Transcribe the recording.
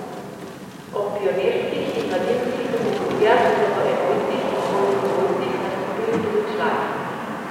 Ob pionirskih in mladinskih kategorijah so v enojcih in dvojnih dvojcih nastopili tudi člani.